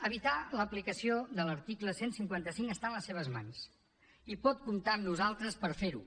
evitar l’aplicació de l’article cent i cinquanta cinc està en les seves mans i pot comptar amb nosaltres per fer ho